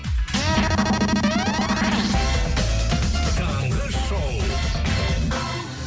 таңғы шоу